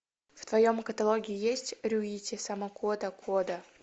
в твоем каталоге есть рюити сакамото кода